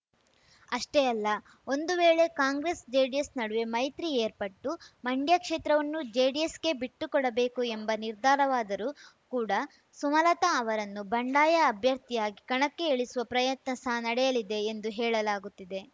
ಅಷ್ಟೇ ಅಲ್ಲ ಒಂದು ವೇಳೆ ಕಾಂಗ್ರೆಸ್‌ಜೆಡಿಎಸ್‌ ನಡುವೆ ಮೈತ್ರಿ ಏರ್ಪಟ್ಟು ಮಂಡ್ಯ ಕ್ಷೇತ್ರವನ್ನು ಜೆಡಿಎಸ್‌ಗೆ ಬಿಟ್ಟುಕೊಡಬೇಕು ಎಂಬ ನಿರ್ಧಾರವಾದರೂ ಕೂಡ ಸುಮಲತಾ ಅವರನ್ನು ಬಂಡಾಯ ಅಭ್ಯರ್ಥಿಯಾಗಿ ಕಣಕ್ಕೆ ಇಳಿಸುವ ಪ್ರಯತ್ನ ಸಹ ನಡೆಯಲಿದೆ ಎಂದು ಹೇಳಲಾಗುತ್ತಿದೆ